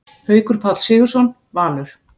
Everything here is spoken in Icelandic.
Haukur Páll Sigurðsson, Valur